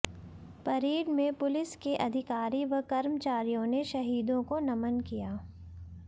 parade में police के अधिकारी व कर्मचारियों ने शहीदों को नमन किया